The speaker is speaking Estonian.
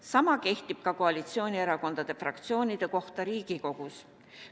Sama kehtib ka koalitsioonierakondade fraktsioonide kohta Riigikogus.